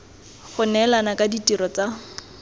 go neelana ka ditirelo tsa